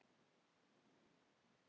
Loga þú í hverju hjarta.